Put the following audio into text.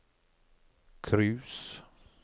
cruise